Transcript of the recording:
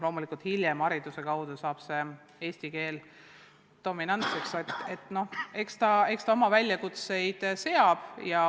Loomulikult saab koolis eesti keel dominantseks, aga eks see oma väljakutseid seab.